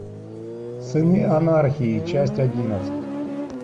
сыны анархии часть одиннадцать